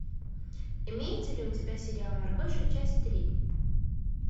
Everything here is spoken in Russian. имеется ли у тебя сериал маргоша часть три